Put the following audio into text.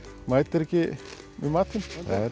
mætir ekki með matinn